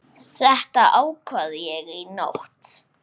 Þetta ákvað ég í nótt.